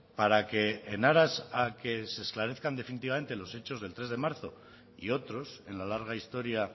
para que en aras a que se esclarezcan definitivamente los hechos del tres de marzo y otros en la larga historia